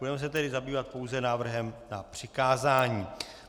Budeme se tedy zabývat pouze návrhem na přikázání.